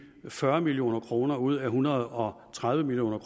fyrre million kroner ud af en hundrede og tredive million